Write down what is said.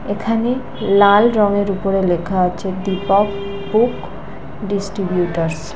এখানে লাল রঙের উপরে লেখা আছে দীপক বুক ডিস্ট্রিবিউটরস ।